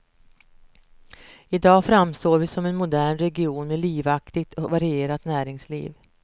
I dag framstår vi som en modern region med livaktigt och varierat näringsliv.